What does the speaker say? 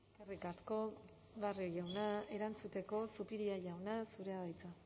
eskerrik asko barrio jauna erantzuteko zupiria jauna zurea da hitza